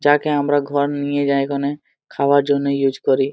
যাকে আমরা ঘর নিয়ে যায় ক্ষনে খাবার জন ইউস করি।